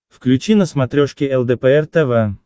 включи на смотрешке лдпр тв